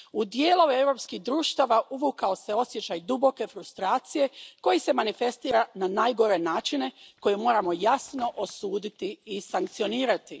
U dijelove europskih društava uvukao se osjećaj duboke frustracije koji se manifestira na najgore načine koje moramo jasno osuditi i sankcionirati.